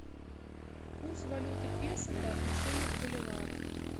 курс валюты песо по отношению к боливару